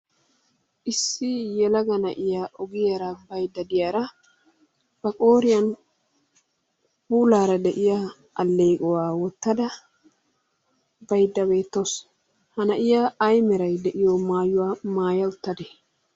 Issi yelaga na'iya baydda diyara ba qooriyan puulaara de'iya alleequwa wottada baydda beettawusu. Ha na'iya ay meray de'iyo maayuwa maaya uttadee?